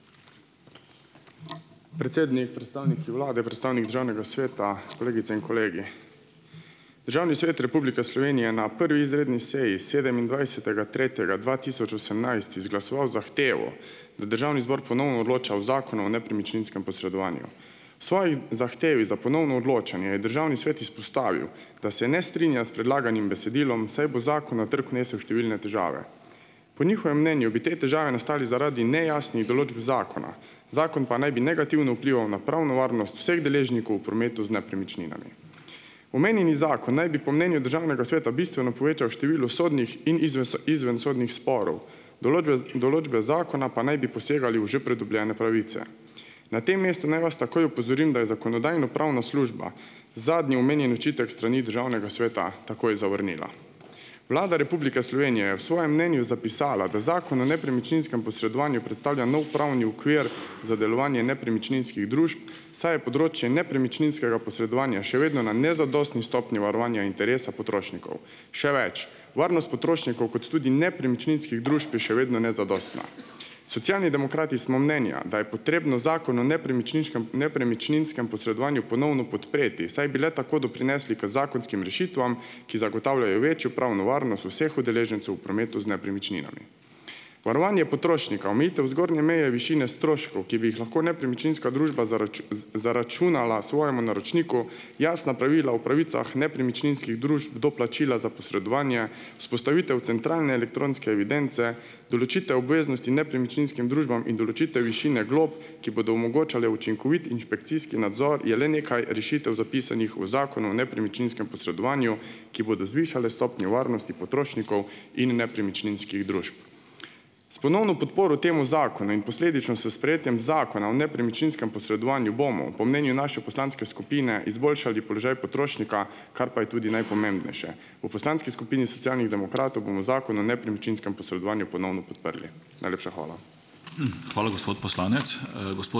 Predsednik, predstavniki vlade, predstavnik državnega sveta, kolegici in kolegi! Državni svet Republike Slovenije je na prvi izredni seji, sedemindvajsetega tretjega dva tisoč osemnajst izglasoval zahtevo, da državni zbor ponovno odloča o Zakonu o nepremičninskem posredovanju. V svoji zahtevi za ponovno odločanje je državni svet izpostavil, da se ne strinja s predlaganim besedilom, saj bo zakon na trgu nesel številne težave, po njihovem mnenju bi te težave nastale zaradi nejasnih določb zakona, zakon pa naj bi negativno vplival na pravno varnost vseh deležnikov v prometu z nepremičninami. Omenjeni zakon naj bi po mnenju državnega sveta bistveno povečal število sodnih in izvensodnih sporov, določbez določbe zakona pa naj bi posegale v že pridobljene pravice. Na tem mestu naj vas takoj opozorim, da je Zakonodajno-pravna služba zadnji omenjeni očitek s strani državnega sveta takoj zavrnila. Vlada Republike Slovenije je v svojem mnenju zapisala, da Zakon o nepremičninskem posredovanju predstavlja nov pravni okvir za delovanje nepremičninskih družb, saj je področje nepremičninskega posredovanja še vedno na nezadostni stopnji varovanja interesa potrošnikov. Še več, varnost potrošnikov kot tudi nepremičninskih družb je še vedno nezadostna. Socialni demokrati smo mnenja, da je potrebno Zakon o nepremičninškem nepremičninskem posredovanju ponovno podpreti, saj bi le tako doprinesli k zakonskim rešitvam, ki zagotavljajo večjo pravno varnost vseh udeležencev v prometu z nepremičninami. Varovanje potrošnika, omejitev zgornje meje višine stroškov, ki bi jih lahko nepremičninska družba zaračunala svojemu naročniku. Jasna pravila o pravicah nepremičninskih družb do plačila za posredovanje, vzpostavitev centralne elektronske evidence, določitev obveznosti nepremičninskim družbam in določitev višine glob, ki bodo omogočale učinkovit inšpekcijski nadzor, je le nekaj rešitev, zapisanih v Zakonu o nepremičninskem posredovanju, ki bodo zvišale stopnjo varnosti potrošnikov in nepremičninskih družb. S ponovno podporo temu zakonu in posledično s sprejetjem Zakona o nepremičninskem posredovanju bomo, po mnenju naše poslanske skupine, izboljšali položaj potrošnika, kar pa je tudi najpomembnejše. V poslanski skupini Socialnih demokratov bomo Zakon o nepremičninskem posredovanju ponovno podprli. Najlepša hvala.